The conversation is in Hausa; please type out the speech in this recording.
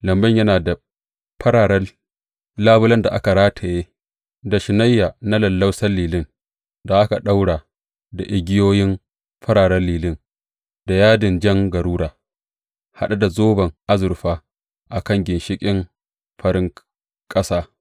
Lambun yana da fararen labulen da aka rataye da shunayya na lallausan lilin, da aka ɗaura da igiyoyin fararen lilin, da yadin jan garura, haɗe da zoban azurfa a kan ginshiƙin farin ƙasa.